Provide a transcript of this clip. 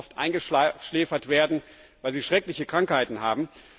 Sie müssen oft eingeschläfert werden, weil sie schreckliche Krankheiten haben.